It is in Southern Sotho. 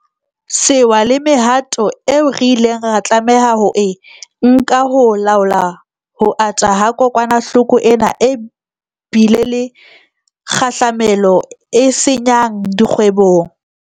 Sewa le mehato eo re ileng ra tlameha ho e nka ho laola ho ata ha kokwanahloko ena e bile le kgahlamelo e senya ng dikgwebong.